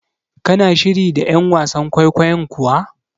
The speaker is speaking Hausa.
Kina shiri da ƴan wasan kwaikwayon kuwa?